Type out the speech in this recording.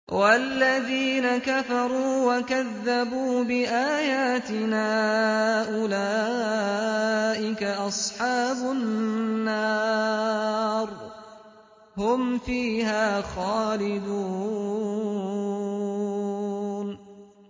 وَالَّذِينَ كَفَرُوا وَكَذَّبُوا بِآيَاتِنَا أُولَٰئِكَ أَصْحَابُ النَّارِ ۖ هُمْ فِيهَا خَالِدُونَ